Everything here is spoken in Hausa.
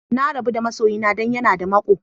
Na rabu da ma'soyina dan ya na da mako.